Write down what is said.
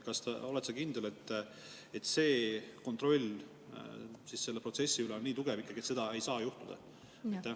Oled sa kindel, et kontroll selle protsessi üle on nii tugev, et seda ei saa juhtuda?